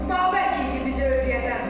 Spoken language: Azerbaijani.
Babək idi bizə öyrədən.